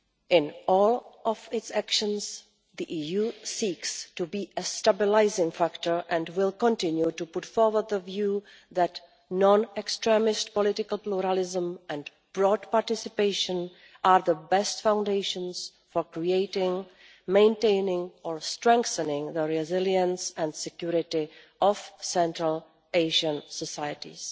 In all of its actions, the EU seeks to be a stabilising factor and will continue to put forward the view that non-extremist political pluralism and broad participation are the best foundations for creating, maintaining or strengthening the resilience and security of Central Asian societies.